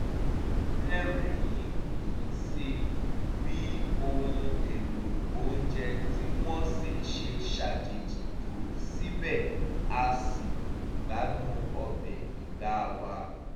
a rẹ́rìn-ín sí bí ohun èlò oúnje tí wọ́n sè ṣe ṣàjèjì tó síbẹ̀ a ṣì gbádùn ọbẹ̀ ìgbá wa